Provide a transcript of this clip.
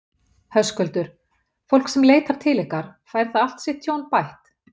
Höskuldur: Fólk sem leitar til ykkar, fær það allt sitt tjón bætt?